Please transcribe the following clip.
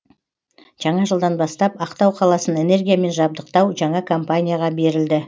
жаңа жылдан бастап ақтау қаласын энергиямен жабдықтау жаңа компанияға берілді